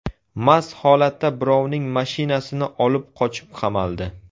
Mast holatda birovning mashinasini olib qochib qamaldi.